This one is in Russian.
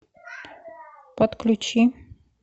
подключи